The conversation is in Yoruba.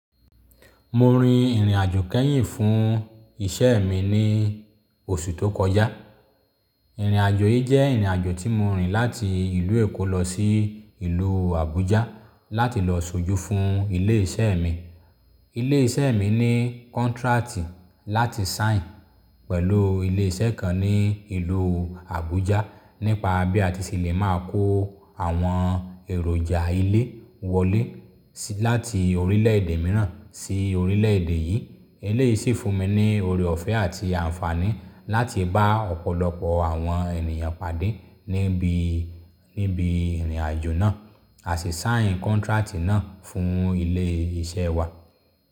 Mo rin ìrìnàjò kẹ́yìn fún iṣẹ́ mi ní oṣù tó kọjá. Ìrìnàjò yìí jẹ́ ìrìnàjò tí mo rìn láti ìlú Èkó lọ sí ìlú Abuja láti lọ ṣojú fún ilé iṣẹ́ mi. Ilé iṣẹ́ mi ní kontrati láti sign pẹ̀lú ilé iṣẹ́ kan ní ìlú Abuja nípa bí a ti ṣe lè máa kó àwọn èròjà ilé wọlé sí láti orílẹ̀ èdè mìíràn sí orílẹ̀ èdè yìí. Ele yìí sì fún mi ní ore ọ̀fẹ́ àti àǹfààní láti bá ọ̀pọ̀lọpọ̀ àwọn ènìyàn pàdé níbi, níbi ìrìnàjò náà, a sì sign kontrati náà fún ilé iṣẹ́ wa.